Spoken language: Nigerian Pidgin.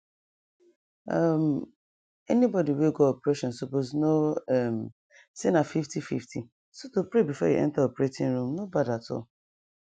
um anybody we go operation suppose know um say na fiftyfifty so to pray befor you enter operating room no bad at all